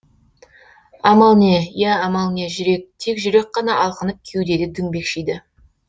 амал не иә амал не жүрек тек жүрек қана алқынып кеудеде діңбекшиді